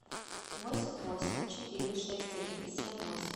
восемь восемь четыре шесть один семь восемь